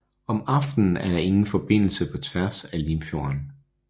Om aftenen er der ingen forbindelse på tværs af Limfjorden